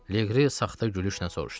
Leqri saxta gülüşlə soruşdu.